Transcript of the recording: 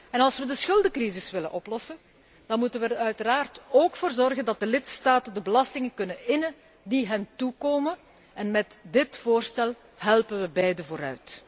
En als wij de schuldencrisis willen oplossen, dan moeten wij er uiteraard ook voor zorgen dat de lidstaten de belastingen kunnen innen die hen toekomen en bij dit voorstel zijn beide gebaat.